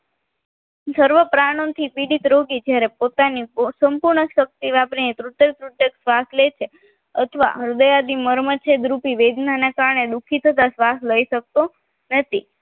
સર્વપ્રણો થી પીડિત રોગી જ્યારે પોતાની સંપૂર્ણ શક્તિ વાપરી તૂટક તૂટક શ્વાસ લે છે અથવા હૃદય મર્મ છેદ રૂપી વેદના ને કારણે દુઃખી થતા શ્વાસ લઈ શકતો નથી